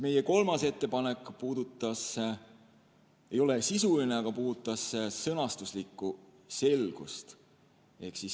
Meie kolmas ettepanek ei ole sisuline, aga puudutas sõnastuslikku selgust.